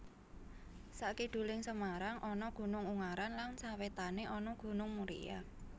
Sakiduling Semarang ana Gunung Ungaran lan sawétané ana Gunung Muria